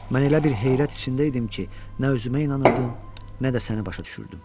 Mən elə bir heyrət içində idim ki, nə özümə inanırdım, nə də səni başa düşürdüm.